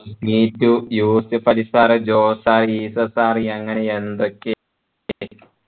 Neetu Yusuf Ali sir A Jose sir യങ്ങനെ എന്തൊക്കെ